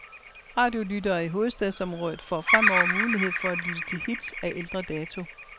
Radiolyttere i hovedstadsområdet får fremover mulighed for at lytte til hits af ældre dato.